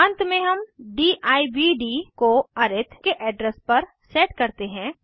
अंत में हम दिव्द को अरिथ के एड्रेस पर सेट करते हैं